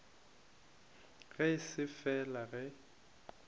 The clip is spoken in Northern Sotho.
ge e se fela ge